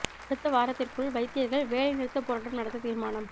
அடுத்த வாரத்திற்குள் வைத்தியர்கள் வேலை நிறுத்தப் போராட்டம் நடாத்த தீர்மானம்